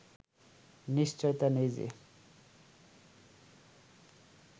নিশ্চয়তা নেই যে